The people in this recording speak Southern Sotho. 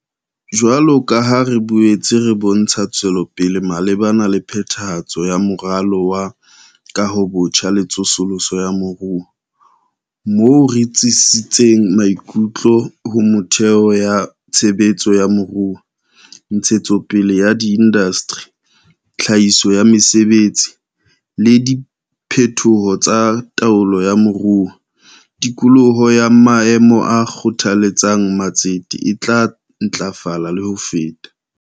Jwalo ka ha re boetse re bontsha tswelopele malebana le phethahatso ya Moralo wa Kahobotjha le Tsosoloso ya Moruo - moo re tsitsisitseng maikutlo ho metheo ya tshe betso ya moruo, ntshetsopele ya diindasteri, tlhahiso ya mesebetsi, le diphetoho tsa taolo ya moruo - tikoloho ya maemo a kgothaletsang ma tsete e tla ntlafala le ho feta.